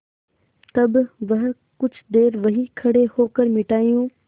तब वह कुछ देर वहीं खड़े होकर मिठाइयों